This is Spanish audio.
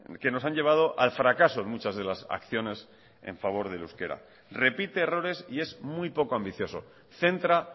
que nos han llevado al fracaso en muchas de las acciones en favor del euskera repite errores y es muy poco ambicioso centra